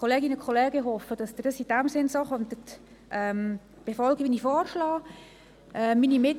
Liebe Kolleginnen und Kollegen, ich hoffe, dass Sie in dem Sinn vorgehen werden, wie ich es vorgeschlagen habe.